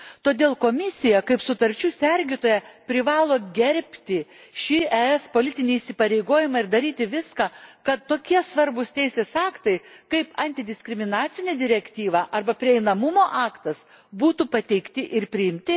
Todėl Komisija, kaip sutarčių sergėtoja, privalo gerbti šį ES politinį įsipareigojimą ir daryti viską, kad tokie svarbūs teisės aktai kaip Antidiskriminacinė direktyva arba Prieinamumo aktas būtų pateikti ir priimti.